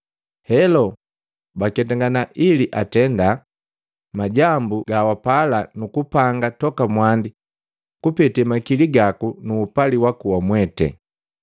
Helo, baketangana ili atenda, majambu ga wapala nu kupanga toka mwandi kupete makili gaku nu upali waku wamwete.